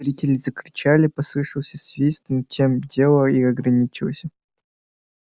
зрители закричали послышался свист но тем дело и ограничилось